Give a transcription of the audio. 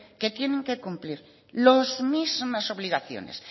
que tiene que cumplir las mismas obligaciones